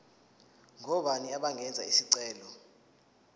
ngobani abangenza isicelo